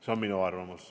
See on minu arvamus.